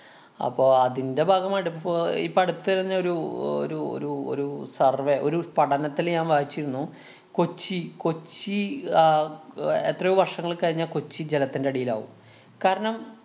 അപ്പൊ അതിന്‍റെ ഭാഗമായിട്ട് ഇപ്പൊ ഇപ്പൊ അടുത്ത് തന്നെ ഒരു ഒരു ഒരു ഒരു survey ഒരു പഠനത്തില്‍ ഞാന്‍ വായിച്ചിരുന്നു കൊച്ചി കൊച്ചി ആഹ് അഹ് എത്രയോ വര്‍ഷങ്ങള്‍ കഴിഞ്ഞാ കൊച്ചി ജലത്തിന്‍റെ അടിയിലാവും. കാരണം,